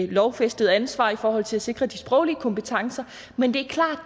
lovfæstede ansvar i forhold til at sikre de sproglige kompetencer men det er klart